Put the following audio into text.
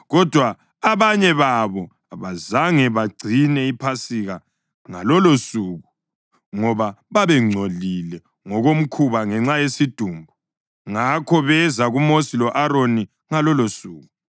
Kodwa abanye babo abazange bagcine iPhasika ngalolosuku ngoba babengcolile ngokomkhuba ngenxa yesidumbu. Ngakho beza kuMosi lo-Aroni ngalolosuku